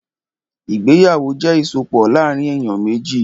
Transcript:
Ìgbéyàwó jẹ́ ìsopọ̀ láàrín èyàn méjì.